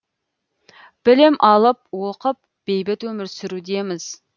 білім алып оқып бейбіт өмір сүрудеміз